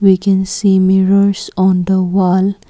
we can see mirrors on the wall.